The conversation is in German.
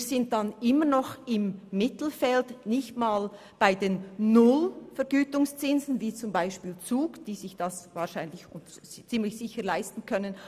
Wir liegen dann im Mittelfeld und nicht bei 0 Prozent Vergütungszins wie der Kanton Zug.